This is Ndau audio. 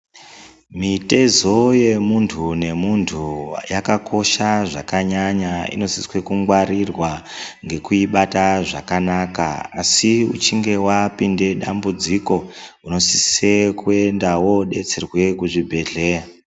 Mitezo yemuntu nemuntu yakakosha zvakanyanya inosiswa kungwarirwa ngekuibata zvakanaka, asi uchinge wapinde dambudziko unosise kuenda wodetsera kuzvibhedhlera.